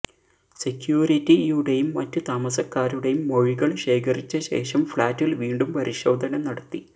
സെക്യൂരിറ്റിയുടെയും മറ്റ് താമസക്കാരുടെയും മൊഴികൾ ശേഖരിച്ച ശേഷം ഫ്ലാറ്റിൽ വീണ്ടും പരിശോധന നടത്തി